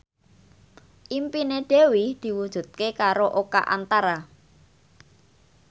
impine Dewi diwujudke karo Oka Antara